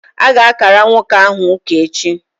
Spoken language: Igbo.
A ga-ákàrà nwoke ahụ ụka echi